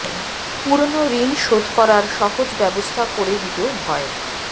পুরনো ঋণ শোধ করার সহজ ব্যবস্থা করে দিতেও ভয়